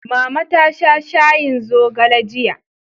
Mama ta sha shayin zogale jiya.